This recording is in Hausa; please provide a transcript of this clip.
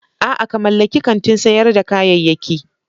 A'a! ka mallaki kantin sayar da kayayyaki.